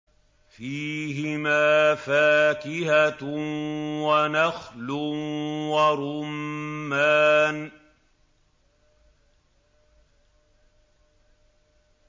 فِيهِمَا فَاكِهَةٌ وَنَخْلٌ وَرُمَّانٌ